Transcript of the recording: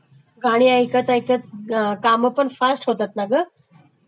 गाणी ऐकत ऐकत कामपण फास्ट होतात ना ग